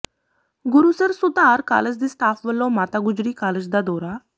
Gurusar Sudhar college ਦੇ staff ਵਲੋਂ Mata Gujri college ਦਾ ਦੌਰਾ